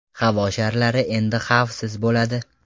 Havo sharlari endi xavfsiz bo‘ladi.